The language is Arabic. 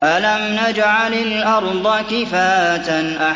أَلَمْ نَجْعَلِ الْأَرْضَ كِفَاتًا